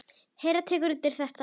Hera tekur undir þetta.